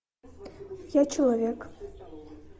я человек